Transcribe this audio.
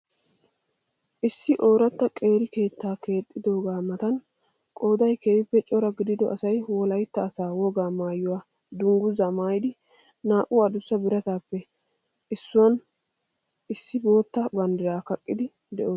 Issi oorata qeeri keettaa keexxidoogaa matan qoday keehiippe cora gidido asay wolaitta asa wogaa maayuwaa dungguzaa maayiidi naa'u adussa birataappe issuwan issi bootta bandiraa kaqqiidi doosona.